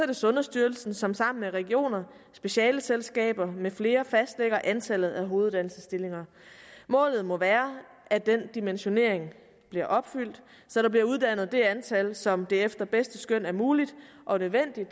det sundhedsstyrelsen som sammen med regioner specialeselskaber med flere fastlægger antallet af hoveduddannelsesstillinger målet må være at den dimensionering bliver opfyldt så der bliver uddannet det antal som det efter bedste skøn er muligt og nødvendigt